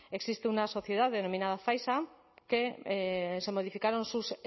existe una sociedad denominada zaisa que se modificaron sus